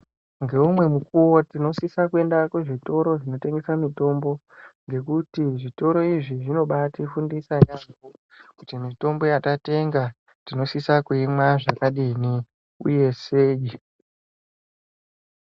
Ngeumwe mukuwo tinosisa kuenda kuzvitoro zvinotengese mitombo ngekuti zvitoro izvi zvinobatifundisa yambo kuti mitombo yatatenga tinosisa kuimwa zvakadini uye sei.